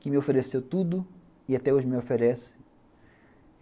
Que me ofereceu tudo e até hoje me oferece.